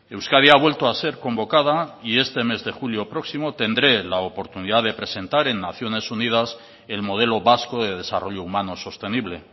euskadi ha vuelto a ser convocada y este mes de julio próximo tendré la oportunidad de presentar en naciones unidas el modelo vasco de desarrollo humano sostenible